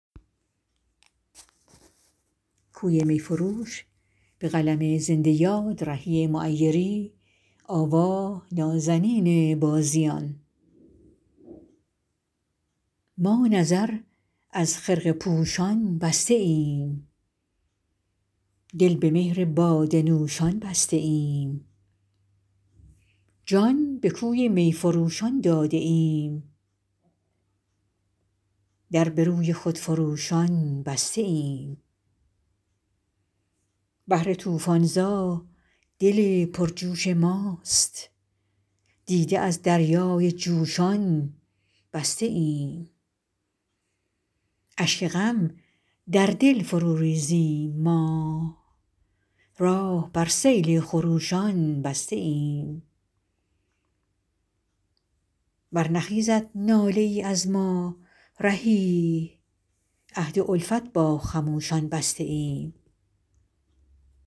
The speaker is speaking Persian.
ما نظر از خرقه پوشان بسته ایم دل به مهر باده نوشان بسته ایم جان به کوی می فروشان داده ایم در به روی خودفروشان بسته ایم بحر طوفان زا دل پرجوش ماست دیده از دریای جوشان بسته ایم اشک غم در دل فرو ریزیم ما راه بر سیل خروشان بسته ایم برنخیزد ناله ای از ما رهی عهد الفت با خموشان بسته ایم